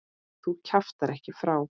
Þú kjaftar ekki frá!